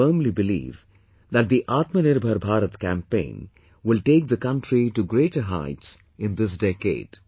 I firmly believe that the Atmanirbhar Bharat campaign will take the country to greater heights in this decade